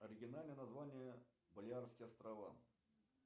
оригинальное название балеарские острова